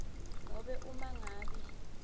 nobe uma ngabe